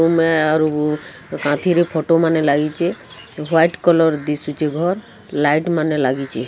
ଗୁମେ ଆରୁ ଗୁ କାନ୍ଥରେ ଫଟୋ ମାନେ ଲାଗିଚି ହ୍ୱାଇଟ୍ କଲର୍ ଦିଶୁଚି ଘର୍ ଲାଇଟ୍ ମାନେ ଲାଗିଚି।